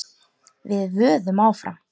Við vöðum áfram.